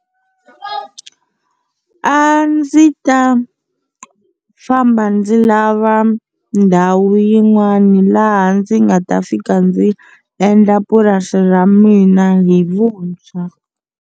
A ndzi ta famba ndzi lava ndhawu yin'wana laha ndzi nga ta fika ndzi endla purasi ra mina hi vuntshwa.